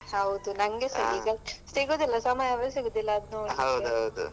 ಹೌದು. ನಂಗೆಸಾ ಸಿಗುದಿಲ್ಲ ಸಮಯನೆ ಸಿಗುದಿಲ್ಲ ಅದು ನೋಡ್ಲಿಕ್ಕೆ.